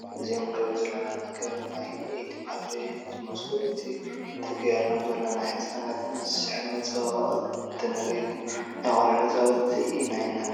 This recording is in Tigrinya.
እዞም ንሪኦም ዘለና ነገራት ናይ ኢድ ባትሪ እዮም ዝመስሉ፡፡ እቲ ተገይርሎም ዘሎ ንህፃናት ዝስሕብ መፀባበቒ እንትርኢ ግን ናይ ቆልዑ መፃወቲታ ኢና ንብሎም፡፡